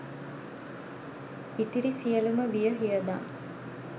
ඉතිරි සියලුම වියහියදම්